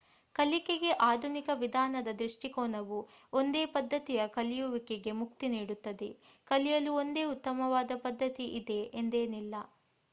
ಕಲಿಕೆಗೆ ಆಧುನಿಕ ವಿಧಾನದ ದೃಷ್ಟಿಕೋನವು ಒಂದೇ ಪದ್ಧತಿಯ ಕಲಿಯುವಿಕೆಗೆ ಮುಕ್ತಿ ನೀಡುತ್ತದೆ. ಕಲಿಯಲು ಒಂದೇ ಉತ್ತಮವಾದ ಪದ್ಧತಿ ಇದೆ ಎಂದೇನಿಲ್ಲ